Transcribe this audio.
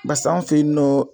bas'anw fe yen nɔ